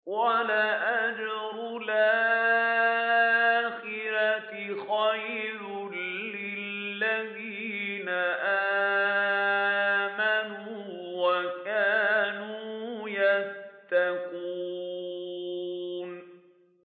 وَلَأَجْرُ الْآخِرَةِ خَيْرٌ لِّلَّذِينَ آمَنُوا وَكَانُوا يَتَّقُونَ